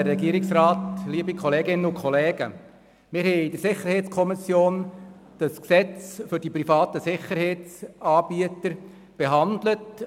der SiK. Wir haben das Gesetz betreffend die privaten Sicherheitsdienste, Gesetz über das Erbringen von Sicherheitsdienstleistungen durch Private (SDPG), in der SiK behandelt.